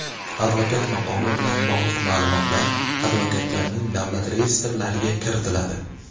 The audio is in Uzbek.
Advokat maqomi bilan bog‘liq ma’lumotlar advokatlarning davlat reyestrlariga kiritiladi.